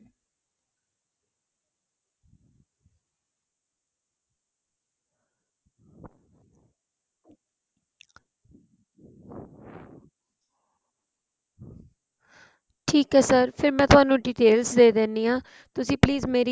ਠੀਕ ਏ sir ਫ਼ਿਰ ਮੈ ਤੁਹਾਨੂੰ details ਦੇ ਦਿੰਨੀ ਆਂ ਤੁਸੀਂ please ਮੇਰੀ